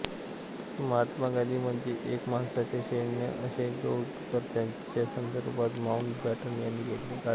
महात्मा गांधी म्हणजे एका माणसाचे सैन्य असे गौरवोद्गार त्यांच्यासंदर्भात माऊटबॅटन यांनी काढले होते